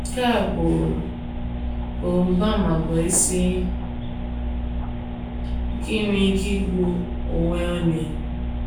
“ Nke a bụ bụ mgbaàmà bụ́ isi nke inwe ike igbu onwe onye.